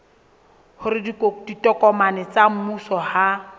hore ditokomane tsa mmuso ha